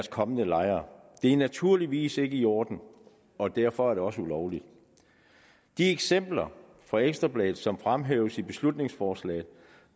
kommende lejere det er naturligvis ikke i orden og derfor er det også ulovligt de eksempler fra ekstra bladet som fremhæves i beslutningsforslaget